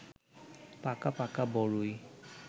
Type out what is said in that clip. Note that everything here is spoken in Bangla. পাকা পাকা বড়ই